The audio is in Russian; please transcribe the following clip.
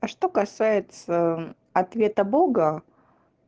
а что касается ответа бога